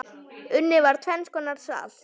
Unnið var tvenns konar salt.